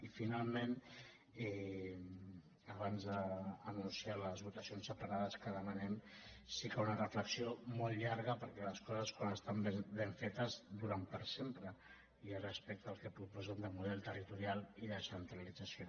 i finalment abans d’anunciar les votacions separades que demanem sí que una reflexió molt llarga perquè les coses quan estan ben fetes duren per sempre i és respecte al que proposen de model territorial i descen·tralització